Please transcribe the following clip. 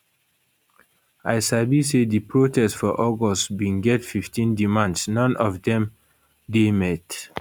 i sabi say di protest for august bin get 15 demands non of dem dey met